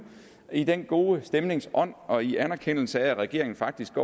i den gode stemnings ånd og i anerkendelse af at regeringen faktisk